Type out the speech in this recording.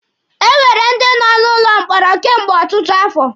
E nwere ndi nọ n'ụlọ mkpọrọ kemgbe ọtụtụ afọ.